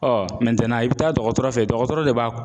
i bɛ taa dɔgɔtɔrɔ fɛ dɔgɔtɔrɔ de b'a